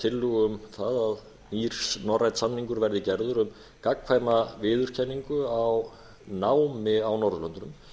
tillögu um það að nýr norrænn samningur verði gerðir um gagnkvæma viðurkenningu á námi á norðurlöndunum